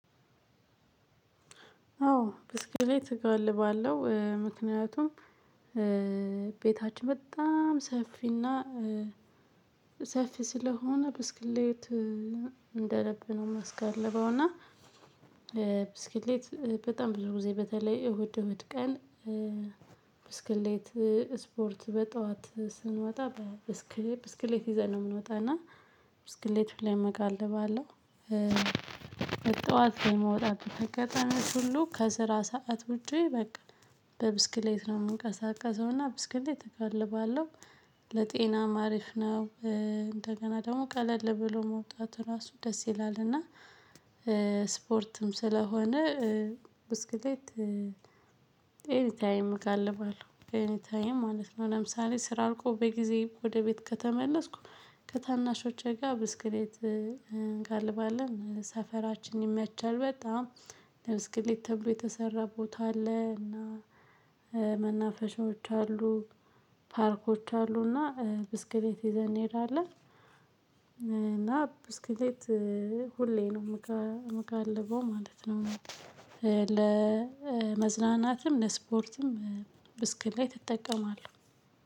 አዎ ብስክሌት እጋልባለሁ ምክንያቱም ቤታች በጣም ሰፊና ሰፊ ስለሆነ ብስክሌት እንደልብ ነው እሚያስጋልበውና ብስክሌት በጣም ብዙ ጊዜ በተለይ እሁድ እሁድ ቀን ብስክሌት ስፖርት በጠዋት ስንወጣ በብስክሌት ይዘን ነው የምንወጣና ብስክሌት ላይ መጋለብ አለው በጠዋት የመውጣት አጋጣሚወች ሁሉ ከስራ ሰዓት ውጪ በቃ በብስክሌት ነው የምንቀሳቀሰው እና ብስክሌት እጋልባለሁ ለጤናም ሀሪፍ ነው። እንደገና ደግሞ ቀለል ብሎ መውጣት ራሱ ደስ ይላልና ስፖርትም ስለሆነ ብስክሌት ኤኒ ታይም እገልባለሁ ኤኒ ታይም ማለት ነው። ለምሳሌ ስራ ልቆ በጊዜ ወደ ቤት ከተመለስኩ ከታናሾቼ ጋር ብስክሌት እንጋልባለን ሰፈራችን ይመቻል። በጣም ለብስክሌት ተብሎ የተሰራ ቦታ አለ እና መናፈሻዎች አሉ። ፓርኮች አሉና ብስክሌት ይዘን እንሄዳለን። እና ብስክሌት ሁሌ ነው የምጋልበው ማለት ነው። ለመዝናናትም ለስፖርትም ብስክሌት ትጠቀማለህ